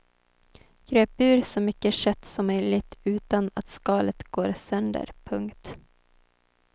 Gröp ur så mycket kött som möjligt utan att skalet går sönder. punkt